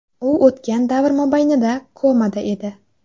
U o‘tgan davr mobaynida komada edi.